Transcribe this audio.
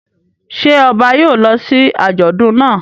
Ṣé ọba yóò lọ sí àjọ̀dún náà?